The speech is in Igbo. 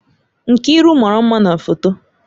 Nkiru mara mma na foto